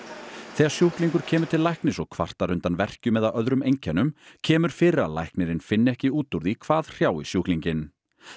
þegar sjúklingur kemur til læknis og kvartar undan verkjum eða öðrum einkennum kemur fyrir að læknirinn finni ekki út úr því hvað hrjái sjúklinginn